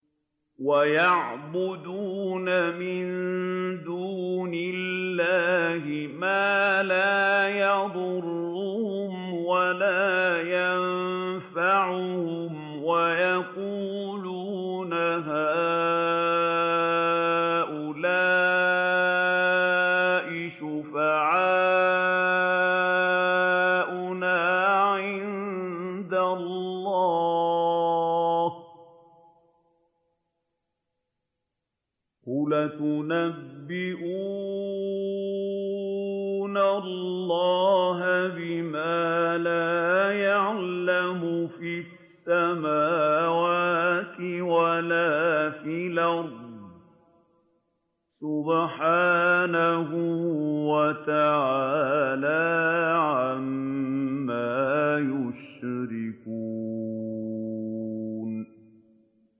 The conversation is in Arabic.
وَيَعْبُدُونَ مِن دُونِ اللَّهِ مَا لَا يَضُرُّهُمْ وَلَا يَنفَعُهُمْ وَيَقُولُونَ هَٰؤُلَاءِ شُفَعَاؤُنَا عِندَ اللَّهِ ۚ قُلْ أَتُنَبِّئُونَ اللَّهَ بِمَا لَا يَعْلَمُ فِي السَّمَاوَاتِ وَلَا فِي الْأَرْضِ ۚ سُبْحَانَهُ وَتَعَالَىٰ عَمَّا يُشْرِكُونَ